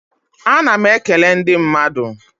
A na m e kele ndị mmadụ.